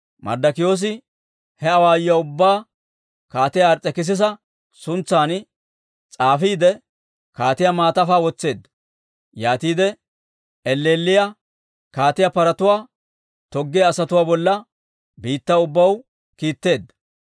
Marddokiyoosi he awaayuwaa ubbaa Kaatiyaa Ars's'ekisisa suntsan s'aafisiide, kaatiyaa maatafaa wotseedda. Yaatide elleelliyaa kaatiyaa paratuwaa toggiyaa asatuwaa bolla biittaw ubbaw kiitteedda.